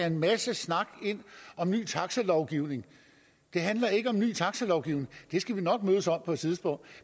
en masse snak ind om ny taxalovgivning det handler ikke om ny taxalovgivning det skal vi nok mødes om på et tidspunkt